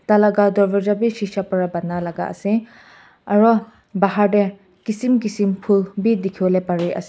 laga dorvaza bhi sisha para bona laga ase aru bahar te kisem kisem phool bhi dekhi bole Pari ase.